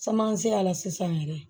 Caman se a la sisan yɛrɛ